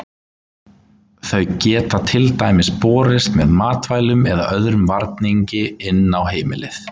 Þau geta til dæmis borist með matvælum eða öðrum varningi inn á heimilið.